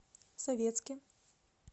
советске